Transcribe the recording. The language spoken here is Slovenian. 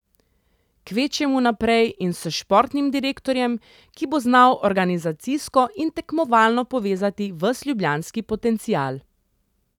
Kvečjemu naprej in s športnim direktorjem, ki bo znal organizacijsko in tekmovalno povezati ves ljubljanski potencial.